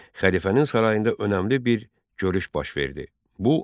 Xəlifənin sarayında önəmli bir görüş baş verdi.